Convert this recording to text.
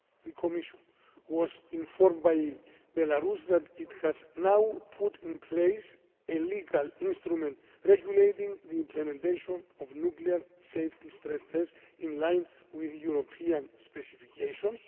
The Commission was informed by Belarus that it has now put in place a legal instrument regulating the implementation of nuclear safety stress tests in line with European specifications.